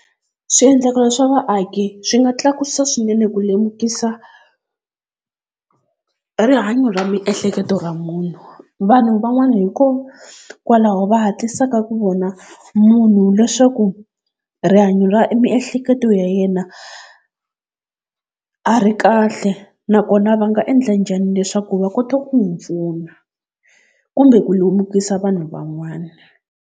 Swiendlakalo swa vaaki swi nga tlakusa swinene ku lemukisa rihanyo ra miehleketo ra munhu. Vanhu van'wana hikokwalaho va hatlisaka ku vona munhu leswaku rihanyo ra miehleketo ya yena a ri kahle, nakona va nga endla njhani leswaku va kota ku n'wi pfuna kumbe ku lemukisa vanhu van'wana.